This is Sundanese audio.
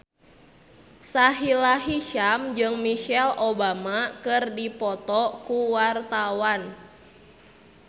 Sahila Hisyam jeung Michelle Obama keur dipoto ku wartawan